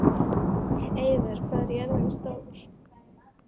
Eivör, hvað er jörðin stór?